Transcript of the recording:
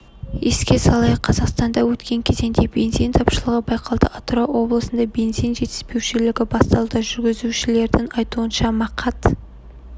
еске салайық қазақстанда өткен кезеңде бензин тапшылығы байқалды атырау облысында бензин жетіспеушілігі басталды жүргізушілердің айтуынша мақат